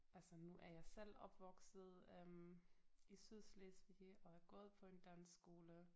Altså nu er jeg selv opvokset øh i Sydslesvig og er gået på en dansk skole